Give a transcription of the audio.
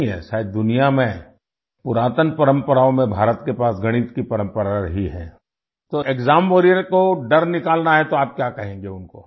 शायद दुनिया में पुरातन परम्पराओं में भारत के पास गणित की परम्परा रही है तो एक्साम वारियर को डर निकालना है तो आप क्या कहेंगे उनको